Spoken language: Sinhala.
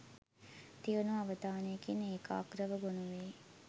තියුණු අවධානයකින් ඒකාග්‍රව ගොනු වෙයි.